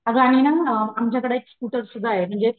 अगं आहे ना आमच्याकडे एक स्कुटर सुध्दा आहे म्हणजे .